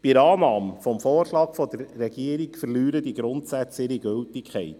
Bei Annahme des Vorschlags der Regierung verlieren diese Grundsätze ihre Gültigkeit.